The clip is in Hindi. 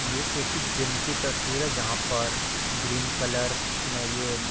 ये एक जिम की तस्वीर है जहाँ पर ग्रीन कलर में ये --